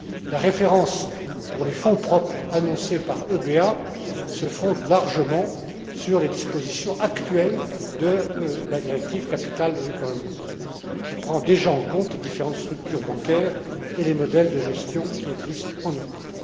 La référence pour les fonds propres annoncés par l'EBA se fonde largement sur les dispositions actuelles de la directive sur l'adéquation des fonds propres, qui prend déjà en compte les différentes structures bancaires et les modèles de gestion qui existent en Europe.